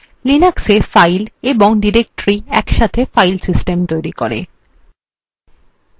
linuxএ files এবং directories একসাথে files system তৈরি করে